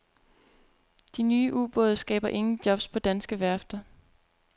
De nye ubåde skaber ingen jobs på danske værfter.